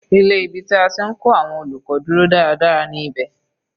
Ilé ibi tí a ti ń kọ́ àwọn olùkọ́ dúró dáradára ní ibẹ̀.